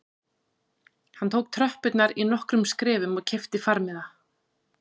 Hann tók tröppurnar í nokkrum skrefum og keypti farmiða